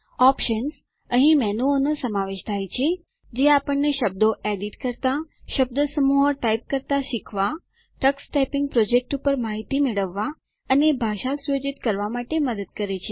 options અહીં મેનુઓનો સમાવેશ થાય છે જે આપણને શબ્દો એડિટ કરવા શબ્દસમૂહો ટાઇપ કરતા શીખવા ટક્સ ટાઈપીંગ પ્રોજેક્ટ પર માહિતી મેળવવા અને ભાષા સુયોજિત કરવા માટે મદદ કરે છે